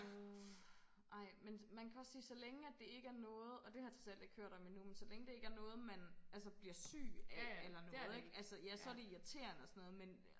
Uh ej men man kan også sige så længe at det ikke er noget og det har jeg trods alt ikke hørt om endnu men så længe det ikke er noget man altså bliver syg af eller noget ikke altså ja så er det irriterende og sådan noget men